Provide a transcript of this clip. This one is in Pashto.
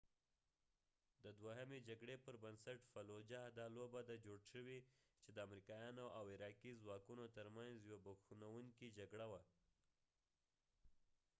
دا لوبه د fallujah د دوهمې جکړې پر بنسټ جوړ شوی چې د امریکایانو او عراقي ځواکونو تر منځ یوه بوږنوونکې جګړه وه